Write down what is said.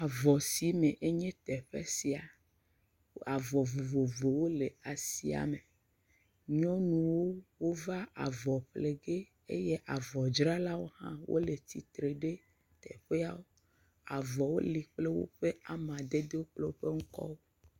Avɔsime enye teƒe sia. Avɔ vovovowo le asia me. nyɔnuwo wova avɔ fle ge eye avɔdzralawo hã wole tsi tre ɖe teƒa. avɔwo li kple woƒe amadedewo kple woƒe ŋkɔwo.